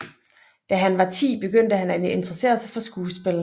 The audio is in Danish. Da han var 10 begyndte han at interessere sig for skuespil